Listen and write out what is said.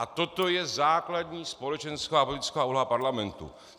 A toto je základní společenská a politická úloha parlamentu.